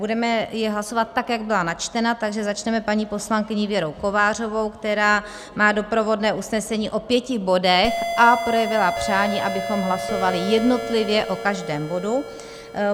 Budeme je hlasovat tak, jak byla načtena, takže začneme paní poslankyní Věrou Kovářovou, která má doprovodné usnesení o pěti bodech a projevila přání, abychom hlasovali jednotlivě o každém bodu.